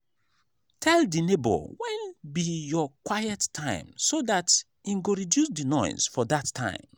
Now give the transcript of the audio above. tell di neighbour when be your quiet time so dat im go reduce di noise for that time